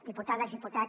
diputades diputats